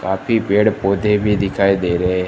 काफी पेड़ पौधे भी दिखाई दे रहे हैं।